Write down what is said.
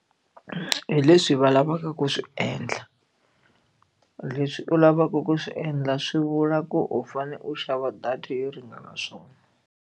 Hi leswi va lavaka ku swi endla leswi u lavaka ku swi endla swi vula ku u fanele u xava data yo ringana swona.